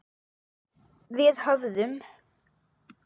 Við höfðum